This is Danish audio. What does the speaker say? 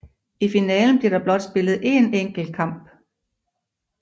I finalen bliver der blot spillet én enkelt kamp